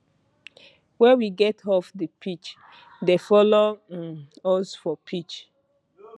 wey we get off di pitch dey follow um us for pitch